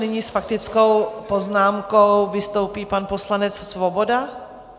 Nyní s faktickou poznámkou vystoupí pan poslanec Svoboda.